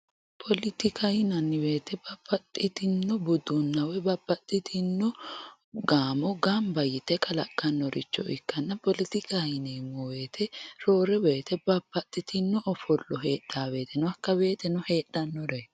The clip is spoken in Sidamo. Poletikaho yinanni woyte babbaxxitino budunna woyi babbaxxitino gaamo gamba yte kalaqanoricho ikkanna poletikaho yineemmo woyte roore woyte babbaxxitewo ofollo heedhano woyte hakka woyteno heedhanore